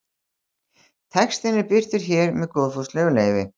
Textinn er birtur hér með góðfúslegu leyfi.